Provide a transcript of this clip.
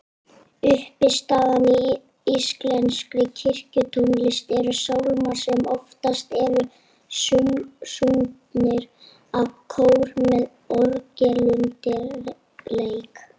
Uppistaðan í íslenskri kirkjutónlist eru sálmar sem oftast eru sungnir af kór með orgelundirleik.